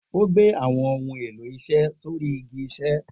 O gbé àwọn ohun èló isé sóri igi isé